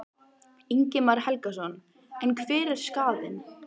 Ingimar Karl Helgason: En hver er skaðinn?